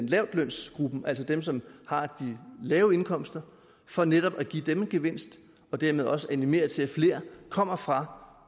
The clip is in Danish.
lavtlønsgruppen altså dem som har de lave indkomster for netop at give dem en gevinst og dermed også animere til at flere kommer fra